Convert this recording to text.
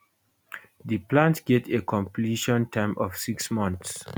di plant get a completion time of six months